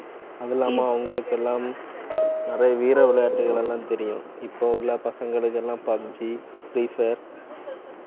அதில்லாம அவங்களுக்கெல்லாம் நிறைய வீர விளையாட்டுகள் எல்லாம் தெரியும். இப்ப உள்ள பசங்களுக்கு எல்லாம் pubg, free fire